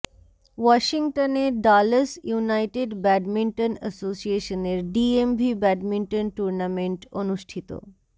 ওয়াশিংটনে Dallas United badminton এসোসিয়েশনের DMV badminton tournament অনুষ্ঠিত